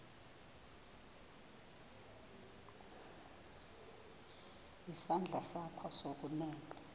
isandla sakho sokunene